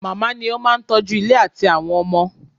Màmá ni ó máa ń tọ́jú ilé àti àwọn ọmọ.